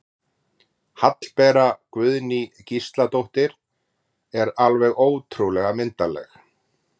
Hallbera Guðný Gísladóttir er alveg ótrúlega myndarleg